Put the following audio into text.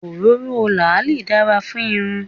Òróró làálì dára fún irun.